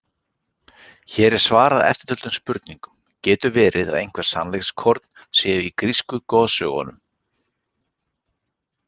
Hér er svarað eftirtöldum spurningum: Getur verið að eitthvert sannleikskorn sé í grísku goðsögunum?